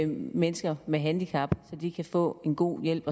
mennesker med handicap så de kan få en god hjælp